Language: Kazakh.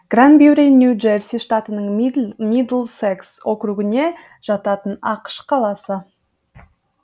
гранбюри нью джерси штатының мидлсекс округіне жататын ақш қаласы